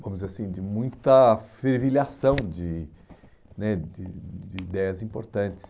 vamos dizer assim, de muita fervilhação de né de de ideias importantes.